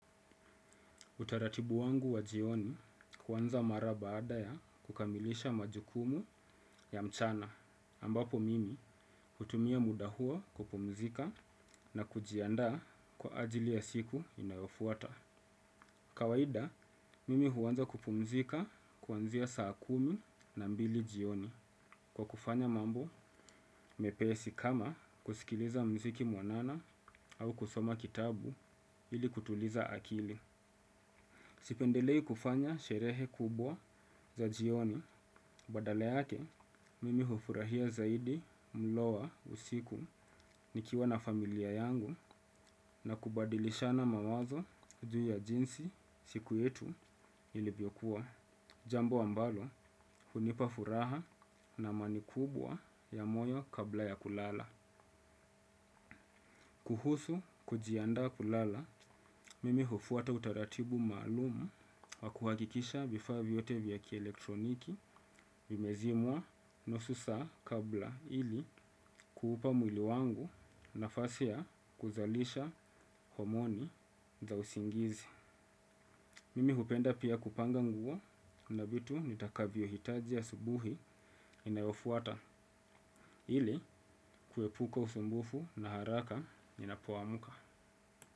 Utaratibu wangu wa jioni kwanza mara baada ya kukamilisha majukumu ya mchana, ambapo mimi hutumia muda huo kupumzika na kujiandaa kwa ajili ya siku inayofuata. Kawaida, mimi huanza kupumzika kuanzia saa kumi na mbili jioni kwa kufanya mambo mepesi kama kusikiliza muziki muanana au kusoma kitabu ili kutuliza akili. Sipendelei kufanya sherehe kubwa za jioni badale yake mimi hufurahia zaidi mlo wa usiku nikiwa na familia yangu na kubadilisha na mawazo juu ya jinsi siku yetu ilivyokuwa. Jambo ambalo hunipa furaha na amani kubwa ya moyo kabla ya kulala. Kuhusu kujiandaa kulala, mimi hufuata utaratibu maalumu wa kuhakikisha vifaa vyote vya kielektroniki vimezimwa nusu saa kabla ili kuupa mwili wangu nafasia ya kuzalisha homoni za usingizi. Mimi hupenda pia kupanga nguo na vitu nitakavyohitaji asubuhi inayofuata ili kuepuka usumbufu na haraka ninapoamka.